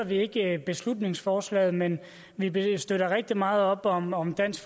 vi ikke beslutningsforslaget men vi vi støtter rigtig meget op om om dansk